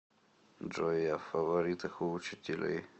джой я в фаворитах у учителей